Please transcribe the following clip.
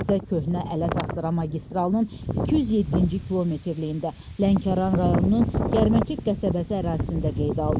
Hadisə Köhnə Ələt Astara magistralının 207-ci kilometrliyində Lənkəran rayonunun Gərmətük qəsəbəsi ərazisində qeydə alınıb.